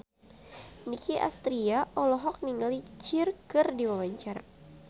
Nicky Astria olohok ningali Cher keur diwawancara